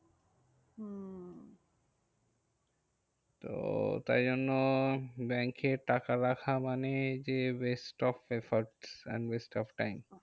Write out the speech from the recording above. তো তাই জন্য ব্যাঙ্কে টাকা রাখা মানে যে waste of efforts and waste of time